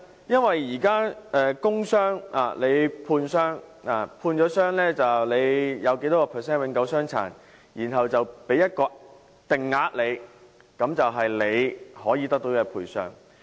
因為現時工傷僱員在判傷時，會判訂有多少百分率的永久傷殘，然後給予一個定額，那便是僱員可以得到的賠償。